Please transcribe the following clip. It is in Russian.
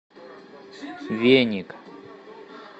веник